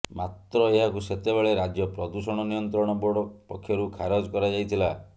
ମାତ୍ର ଏହାକୁ ସେତେବେଳେ ରାଜ୍ୟ ପ୍ରଦୂଷଣ ନିୟନ୍ତ୍ରଣ ବୋର୍ଡ ପକ୍ଷରୁ ଖାରଜ କରାଯାଇଥିଲା